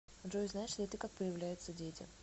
джой знаешь ли ты как появляются дети